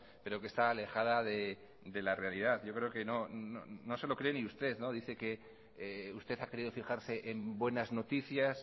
pero que está alejada de la realidad yo creo que no se lo cree ni usted dice que usted ha querido fijarse en buenas noticias